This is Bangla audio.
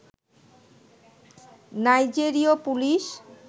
নাইজেরীয় পুলিশ